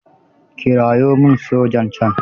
Kirawo min sojan can.